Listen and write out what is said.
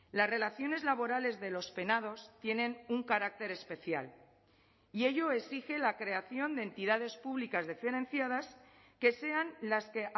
las relaciones laborales de los penados tienen un carácter especial y ello exige la creación de entidades públicas diferenciadas que sean las que